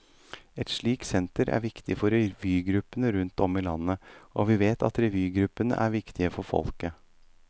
Et slikt senter er viktig for revygruppene rundt om i landet, og vi vet at revygruppene er viktige for folket.